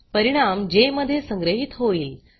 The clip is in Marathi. परिणाम जे मध्ये संग्रहीत होईल